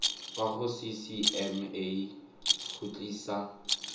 kwa go ccma go tlisa